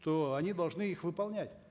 то они должны их выполнять